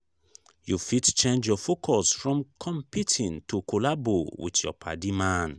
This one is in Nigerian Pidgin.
you fit change your focus from competing to collabo with your padi man